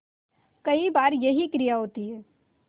कई बार यही क्रिया होती है